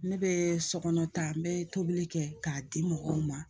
Ne bɛ sokɔnɔ ta n bɛ tobili kɛ k'a di mɔgɔw ma